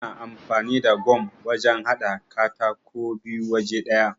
Ana amfani da gam wajan haɗa katako biyu waje ɗaya.